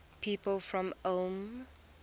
people from ulm